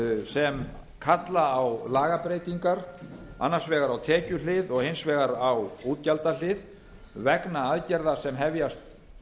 sem kalla á lagabreytingar annars vegar á tekjuhlið og hins vegar á útgjaldahlið vegna aðgerða sem hefjast